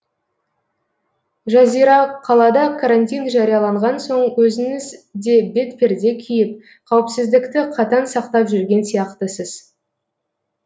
жазира қалада карантин жарияланған соң өзіңіз де бетперде киіп қауіпсіздікті қатаң сақтап жүрген сияқтысыз